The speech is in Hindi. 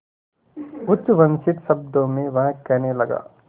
उच्छ्वसित शब्दों में वह कहने लगा